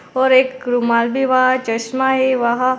और एक रुमाल भी वहा चश्मा है वहा।